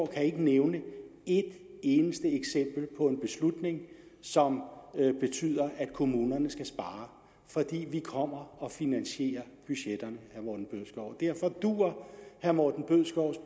kan nævne et eneste eksempel på en beslutning som betyder at kommunerne skal spare for vi kommer og finansierer budgetterne derfor duer herre morten bødskovs